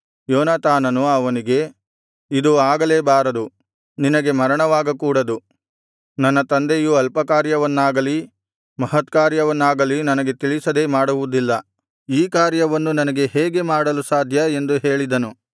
ಯೋನಾತಾನನು ಅವನಿಗೆ ಇದು ಆಗಲೇಬಾರದು ನಿನಗೆ ಮರಣವಾಗಕೂಡದು ನನ್ನ ತಂದೆಯು ಅಲ್ಪಕಾರ್ಯವನ್ನಾಗಲಿ ಮಹಾಕಾರ್ಯವನ್ನಾಗಲಿ ನನಗೆ ತಿಳಿಸದೇ ಮಾಡುವುದಿಲ್ಲ ಈ ಕಾರ್ಯವನ್ನು ನನಗೆ ಹೇಗೆ ಮರೆಮಾಡಲು ಸಾಧ್ಯ ಎಂದು ಹೇಳಿದನು